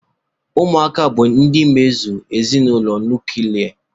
Ụmụaka bụ ndị emezụ ezinụlọ nuklia.